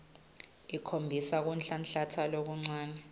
ikhombisa kunhlanhlatsa lokuncane